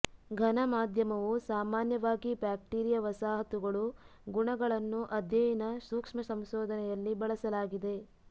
ಘನ ಮಾಧ್ಯಮವು ಸಾಮಾನ್ಯವಾಗಿ ಬ್ಯಾಕ್ಟೀರಿಯಾ ವಸಾಹತುಗಳು ಗುಣಗಳನ್ನು ಅಧ್ಯಯನ ಸೂಕ್ಷ್ಮ ಸಂಶೋಧನೆಯಲ್ಲಿ ಬಳಸಲಾಗಿದೆ